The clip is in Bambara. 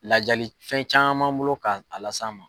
Lajali fɛn caman m'an bolo ka a las'a ma.